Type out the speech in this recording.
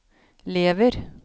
lever